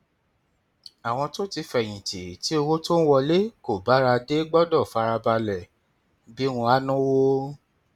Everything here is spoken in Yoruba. àwọn tó ti fẹyìn tì tí owó tó ń wọlé kò bára dé gbọdọ fara balẹ bí wọn á náwó